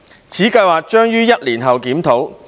此計劃將於1年後檢討。